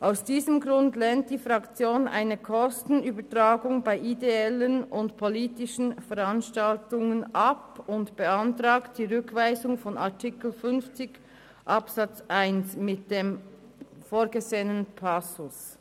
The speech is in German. Aus diesem Grund lehnt die grüne Fraktion eine Kostenübertragung bei ideellen und politischen Veranstaltungen ab und beantragt die Rückweisung von Artikel 50 Absatz 1 mit dem vorgesehenen Passus.